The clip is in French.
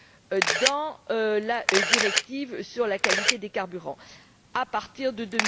CASI dans la directive sur la qualité des carburants à partir de